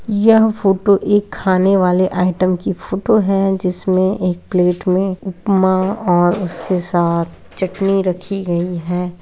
यह फोटो एक खाने वाले आइटम की फोटो है जिसमें एक प्लेट में उपमा और उसके साथ चटनी रखी गई है।